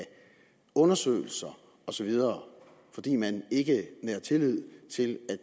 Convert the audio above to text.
undersøgelser osv fordi man ikke næret tillid til at